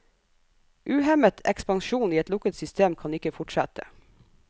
Uhemmet ekspansjon i et lukket system kan ikke fortsette.